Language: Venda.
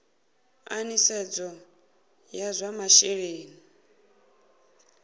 a nisedzo ya zwa masheleni